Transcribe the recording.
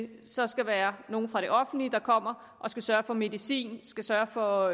det så skal være nogle fra det offentlige der kommer og skal sørge for medicin skal sørge for